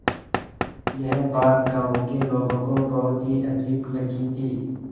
यह बात गाँव के लोगों को बहुत ही अजीब लगी थी